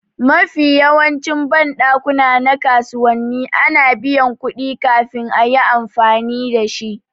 Mafiya yawancin banɗakuna na kasuwanni ana biyan kuɗi kafin a yi amfani dashi